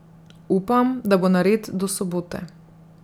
Upam, da bo nared do sobote.